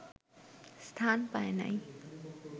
স্থান পায় নাই